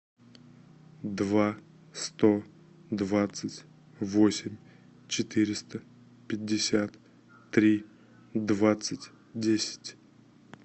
два сто двадцать восемь четыреста пятьдесят три двадцать десять